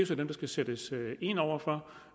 så dem der skal sættes ind over for